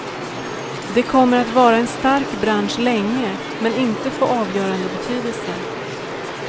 Det kommer att vara en stark bransch länge men inte få avgörande betydelse.